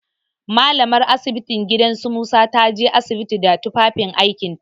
Mallamar asibitin gidan su Musa ta je asibiti da tufafin aikinta.